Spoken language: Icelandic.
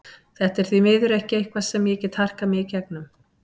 Þetta er því miður ekki eitthvað sem ég get harkað mig í gegnum.